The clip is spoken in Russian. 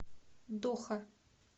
доха